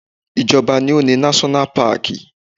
Ìjọba ni ó ni náṣọ́nà paàkì